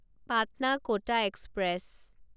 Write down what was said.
পাটনা ক’টা এক্সপ্ৰেছ